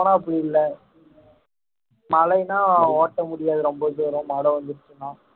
போனா அப்படி இல்லை மழைன்னா ஓட்ட முடியாது ரொம்ப தூரம் மழை வந்துருச்சுன்னா